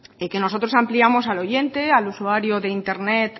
y que nosotros ampliamos al oyente al usuario de internet